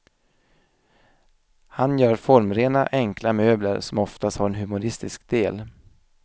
Han gör formrena, enkla möbler som ofta har en humoristisk del.